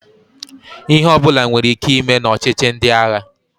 Ihe ọbụla nwere ike ime na ọchịchi ndị agha.